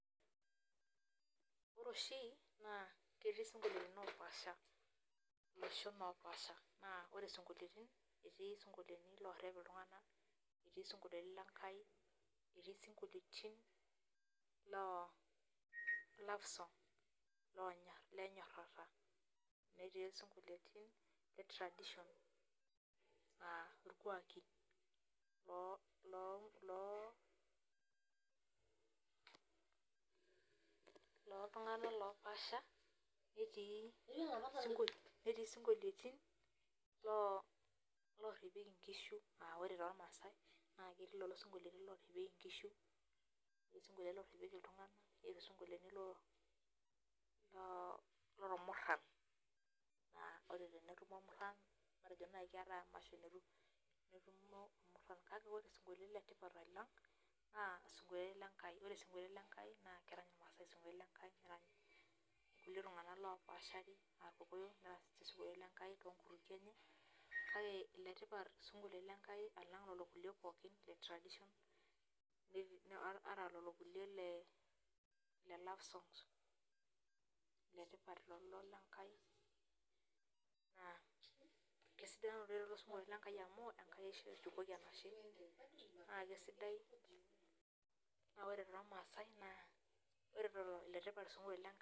Ore oshi naa ketii isinkolioni opaasha iloshon opaasha naa ore isinkoliotin etii isinkolioti lorrep iltung'ana etii isinkolioni lenkai etii isinkolioitin loo love song lonyorr lenyorrata netii esinkoliotin le traditional uh irkuaki loo loo loltung'anak lopaasha netii isinkoliotin loo lorrepieki inkishu uh ore tormaasae naa ketii lelo sinkoliotin lorepieki inkishu etii isinkolioni lorrepieki iltung'ana etii isinkolioni loo lormurran uh ore tenetumo irmurran matejo naai keetae emasho netumo irmurran kake ore isinkolioni letipat alang naa isinkolioni Lenkai ore isinkolioni lenkai naa kerany irmaasae isinkoliotin nerany kulie tung'anak lopashari uh irkokoyo nerany sinche isinkolioni lenkai tonkutukie enye kake iletipat isinkolioni lenkai alang lolo kulie pookin le [tradition ata lolo kulie le love songs iletipat lolo lenkai naa kesidan oleng lelo sinkolioni lenkai amu Enkai eshu eshukoki enashe naa kesidai naa ore tormasae naa ore lolo iletipat isinkolioni lenk.